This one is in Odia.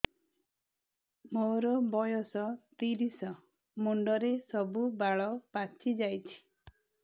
ମୋର ବୟସ ତିରିଶ ମୁଣ୍ଡରେ ସବୁ ବାଳ ପାଚିଯାଇଛି